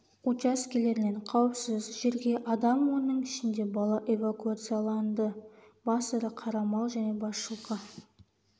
учаскелерінен қауіпсіз жерге адам оның ішінде бала эвакуацияланды бас ірі қара мал және бас жылқы